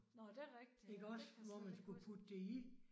Nåh det rigtigt ja. Det kan jeg slet ikke huske